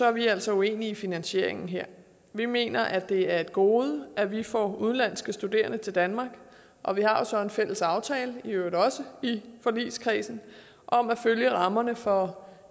er vi altså uenige i finansieringen her vi mener at det er et gode at vi får udenlandske studerende til danmark og vi har jo så en fælles aftale i øvrigt også i forligskredsen om at følge rammerne for